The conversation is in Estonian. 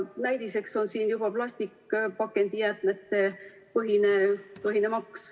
Näidiseks on siin juba plastpakendijäätmete maks.